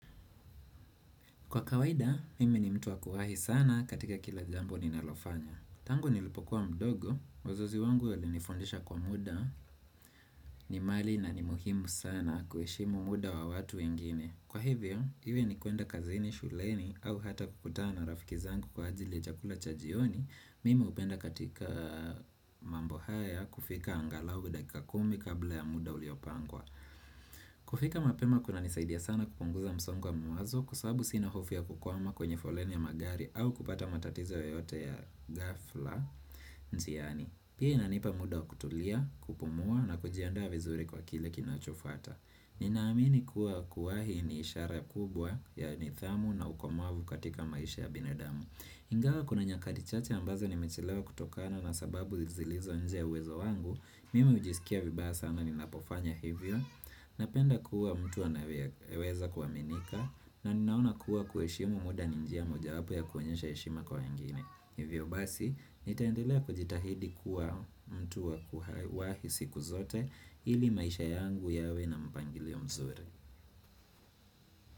Kwa kawaida, mimi ni mtu wakuwahi sana katika kila jambo ninalofanya. Tangu nilipokuwa mdogo, wazazi wangu walinifundisha kuwa muda, ni mali na ni muhimu sana kuheshimu muda wa watu wengine. Kwa hivyo, hivyo ni kuenda kazini, shuleni, au hata kukutana na rafiki zangu kwa ajili ya chakula cha jioni, mimi hupenda katika mambo haya kufika angalau dakika kumi kabla ya muda uliopangwa. Kufika mapema kuna nisaidia sana kupunguza msongo wa mawazo kwa sababu sina hofu ya kukwama kwenye foleni ya magari au kupata matatizo yoyote ya ghafla njiani, pia inanipa muda kutulia, kupumua na kujianda vizuri kwa kile kinachofuata Ninaamini kuwa kuwahi ni ishara kubwa ya nidhamu na ukomavu katika maisha ya binadamu Ingawa kuna nyakati chache ambazo nimechelewa kutokana na sababu zilizo nje ya uwezo wangu Mimi hujisikia vibaya sana ninapofanya hivyo Napenda kuwa mtu anayeweza kuaminika na ninaona kuwa kuheshimu muda ni njia moja wapo ya kuonyesha heshima kwa wengine Hivyo basi, nitaendelea kujitahidi kuwa mtu wakuwahi siku zote ili maisha yangu yawe na mpangilio mzuri.